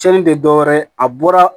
Cɛnnin tɛ dɔwɛrɛ ye a bɔra